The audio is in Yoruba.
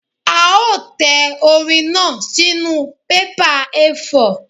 A ó tẹ orin náà sínú bébà A4.